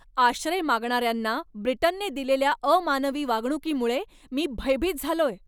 आश्रय मागणाऱ्यांना ब्रिटनने दिलेल्या अमानवी वागणुकीमुळे मी भयभीत झालोय.